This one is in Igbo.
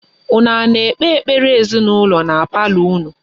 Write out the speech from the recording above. Unu a na-ekpe ekpere ezinụlọ na palọ unu?